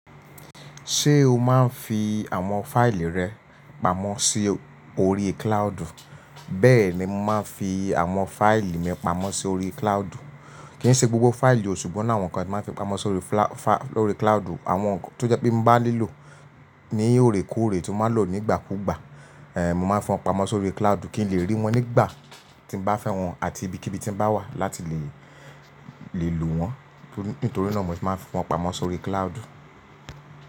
Ṣé o máa ń fi àwọn fáìlì rẹ pamọ́ sí orí cloud u? Bẹ́ẹ̀ ni mo máa ń fi àwọn fáìlì mi pamọ́ sórí cloudu. Kì í ṣe gbogbo fáìlì o, ṣùgbọ́n oni awọn kan tí màá n fi pamọ́ sórí cloudu. Àwọn tó jẹ́ pé n bá nílò ní òorékóòrè tí màá lò nígbà kúgbà, mo màá n fún won pamọ́ sórí cloud kí n lè rí wọn nígbà tí n bá fẹ́ wọn àti ibikíbi tí n bá wà láti lè, lè lò wọ́n. Nítorí náà mo se máa n fi wọ́n pamọ́ sórí cloud.